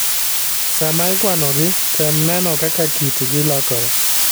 Sama ikwanogi, tem neno kaka kitgi lokore.